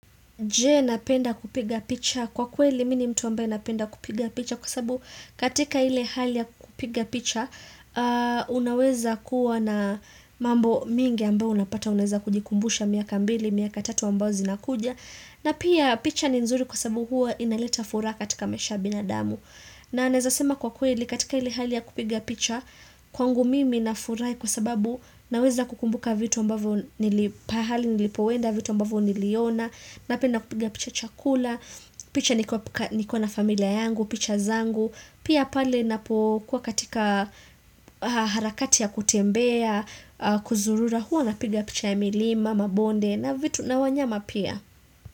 Je napenda kupiga picha kwa kweli mimi ni mtu ambaye napenda kupiga picha kwa sababu katika ile hali ya kupiga picha unaweza kuwa na mambo mingi ambao unapata unaweza kujikumbusha miaka mbili, miaka tatu ambao zinakuja na pia picha ni nzuri kwa sababu huwa inaleta furaha katika maisha ya binadamu. Na nawezasema kwa kweli katika ile hali ya kupiga picha kwangu mimi na furahi kwa sababu naweza kukumbuka vitu mbavo nilipahali nilipoenda vitu mbavo niliona Napenda kupiga picha chakula, picha nikiwa na familia yangu, picha zangu Pia pale ninapo kuwa katika harakati ya kutembea, kuzurura huwa napiga picha ya milima, mabonde na vitu na wanyama pia.